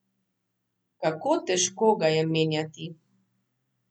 Kako težko ga je menjati?